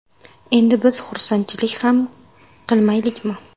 Endi biz xursandchilik ham qilmaylikmi?